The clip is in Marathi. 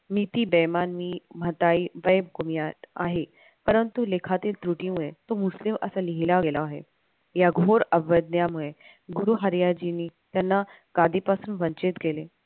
नीती बेईमानी आहे परंतु लेखातील त्रुटीमुळे तू मुस्लिम असं लिहिलं गेलं आहे. या घोर अवज्ञामुळे गुरु हरियाजींनी त्यांना गादीपासून वंचित केले.